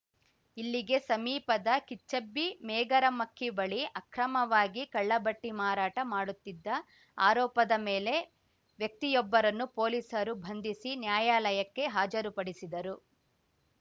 ಇಲ್ಲಿಗೆ ಸಮೀಪದ ಕಿಚ್ಚಬ್ಬಿ ಮೇಗರಮಕ್ಕಿ ಬಳಿ ಅಕ್ರಮವಾಗಿ ಕಳ್ಳಬಟ್ಟಿಮಾರಾಟ ಮಾಡುತ್ತಿದ್ದ ಆರೋಪದ ಮೇಲೆ ವ್ಯಕ್ತಿಯೊಬ್ಬರನ್ನು ಪೊಲೀಸರು ಬಂಧಿಸಿ ನ್ಯಾಯಾಲಯಕ್ಕೆ ಹಾಜರುಪಡಿಸಿದರು